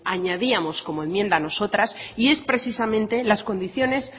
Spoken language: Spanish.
añadíamos como enmienda nosotras y es precisamente las condiciones